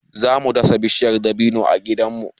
Za mu dasa bishiyar dabino a gidanmu.